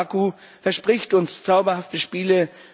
Baku verspricht uns zauberhafte Spiele.